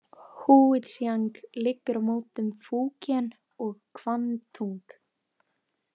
Húítsjang liggur á mótum Fúkén og Kvangtúng.